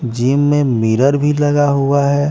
Gym में mirror भी लगा हुआ है।